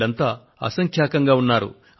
వీళ్లంతా అసంఖ్యాకంగా ఉన్నారు